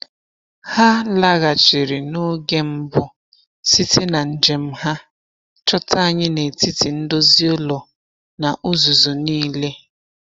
Ha laghachiri n’oge mbụ site na njem ha, chọta anyị n’etiti ndozi ụlọ na uzuzu niile.